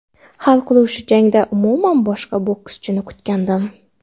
Hal qiluvchi jangda umuman boshqa bokschini kutgandim.